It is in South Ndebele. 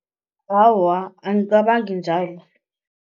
Awa, angicabangi njalo.